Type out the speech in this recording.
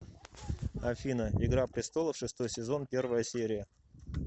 афина игра престолов шестой сезон первая серия